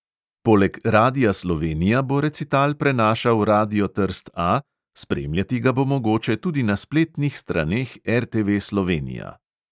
Poleg radia slovenija bo recital prenašal radio trst A, spremljati ga bo mogoče tudi na spletnih straneh RTV slovenija.